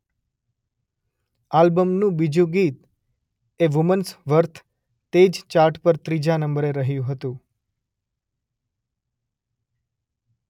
આલ્બમનું બીજુ ગીત એ વુમન્સ વર્થ તે જ ચાર્ટ પર ત્રીજા નંબરે રહ્યું હતું.